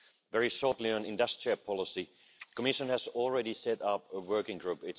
Very briefly, on industrial policy, the Commission has already set up a working group.